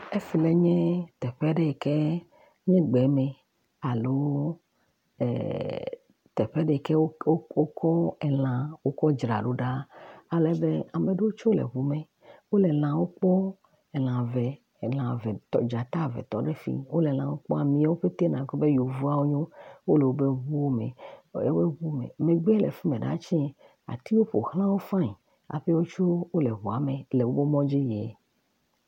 Efi ma nye teƒe aɖe yike nye gbe me alo teƒe aɖe yike wokɔ elã wokɔ dzra ɖo, alebe ame ɖewo tsɛ le ŋu me, wole lãwo kpɔm, elã eve, elã eve, tɔ dzata eve tɔ fi, wole lãwo kpɔm, amewo ƒete nàgblɔ be yevuawo wo nyo, wole wobe ŋuwo me, megbe le fi mɛ ɖa tsɛ, atiwo ƒo xla wo fain, hafi wotsɛ wole ŋua me le mɔdzi yie.